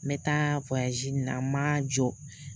N taa in na ma jɔ.